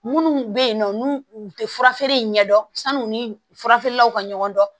Munnu be yen nɔ n'u u te furafeere in ɲɛ dɔn sanu ni fura feerelaw ka ɲɔgɔn dɔn